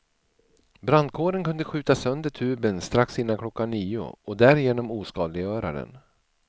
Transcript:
Brandkåren kunde skjuta sönder tuben strax innan klockan nio och därigenom oskadliggöra den.